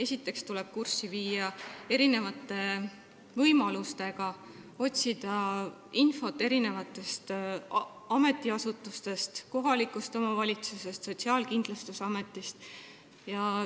Tuleb ennast kurssi viia võimalustega, otsida infot mitmest ametiasutusest, kohalikust omavalitsusest, Sotsiaalkindlustusametist.